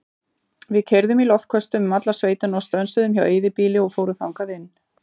Við keyrðum í loftköstum um alla sveitina og stönsuðum hjá eyðibýli og fórum þangað inn.